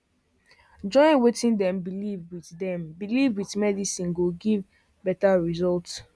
join wetin dem believe with dem believe with medicine go give better result